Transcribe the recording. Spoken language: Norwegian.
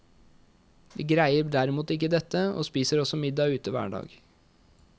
Vi greier derimot ikke dette, og spiser også middag ute hver dag.